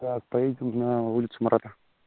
так поедем на улицу марата